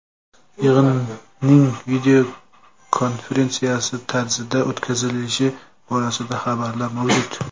Yig‘inning videokonferensiya tarzida o‘tkazilishi borasida xabarlar mavjud.